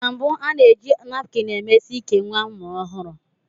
Na mbụ, a na-eji napkini emesi íkè nwa amụrụ ọhụrụ.